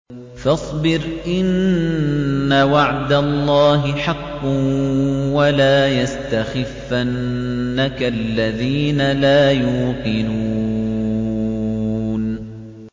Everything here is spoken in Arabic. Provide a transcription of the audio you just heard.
فَاصْبِرْ إِنَّ وَعْدَ اللَّهِ حَقٌّ ۖ وَلَا يَسْتَخِفَّنَّكَ الَّذِينَ لَا يُوقِنُونَ